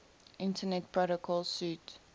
internet protocol suite